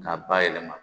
K'a bayɛlɛma